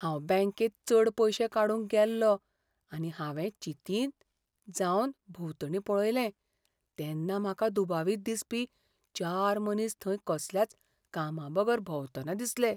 हांव बॅंकेत चड पयशे काडूंक गेल्लों आनी हांवें चिंतीत जावन भोंवतणी पळयलें तेन्ना म्हाका दुबावित दिसपी चार मनीस थंय कसल्याच कामाबगर भोंवतना दिसले.